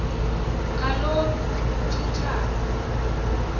kaloku ukuchi thana